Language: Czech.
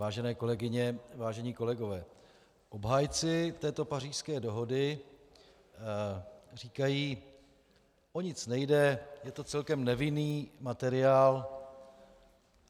Vážené kolegyně, vážení kolegové, obhájci této Pařížské dohody říkají: o nic nejde, je to celkem nevinný materiál.